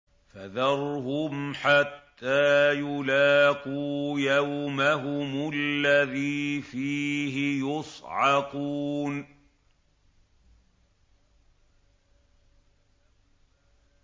فَذَرْهُمْ حَتَّىٰ يُلَاقُوا يَوْمَهُمُ الَّذِي فِيهِ يُصْعَقُونَ